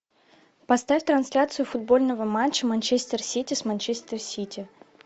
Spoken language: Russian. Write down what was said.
поставь трансляцию футбольного матча манчестер сити с манчестер сити